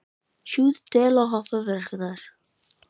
Við stóra jarðskjálfta erlendis hefur stundum orðið gífurlegt jarðrask.